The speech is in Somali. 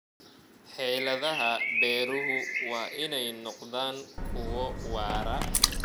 Xeeladaha beeruhu waa inay noqdaan kuwo waara.